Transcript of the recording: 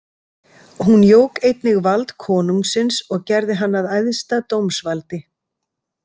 Hún jók einnig vald konungsins og gerði hann að æðsta dómsvaldi.